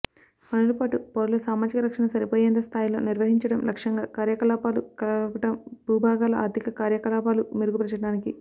పనులు పాటు పౌరుల సామాజిక రక్షణ సరిపోయేంత స్థాయిలో నిర్వహించడం లక్ష్యంగా కార్యకలాపాలు కలపడం భూభాగాల ఆర్థిక కార్యకలాపాలు మెరుగుపరచడానికి